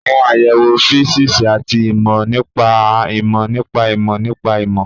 Àwọn àyẹ̀wò físíìsì àti ìmọ̀ nípa ìmọ̀ nípa ìmọ̀ nípa ìmọ̀